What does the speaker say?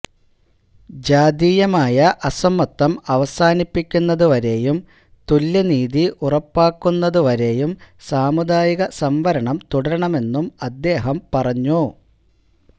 ജാതീയമായ അസമത്വം അവസാനിപ്പിക്കുന്നതുവരെയും തുല്യനീതി ഉറപ്പാക്കുന്നതുവരെയും സാമുദായിക സംവരണം തുടരണമെന്നും അദ്ദേഹം പറഞ്ഞു